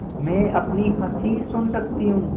मैं अपनी हँसी सुन सकती हूँ